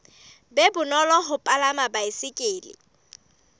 be bonolo ho palama baesekele